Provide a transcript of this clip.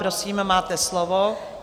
Prosím, máte slovo.